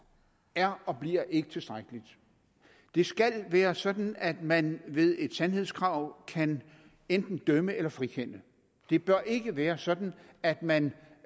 er og bliver ikke tilstrækkeligt det skal være sådan at man ved et sandhedskrav kan enten dømme eller frikende det bør ikke være sådan at man